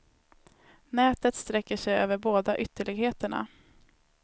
Nätet sträcker sig över båda ytterligheterna.